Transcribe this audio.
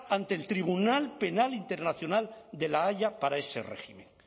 ante el tribunal penal internacional de la haya para ese régimen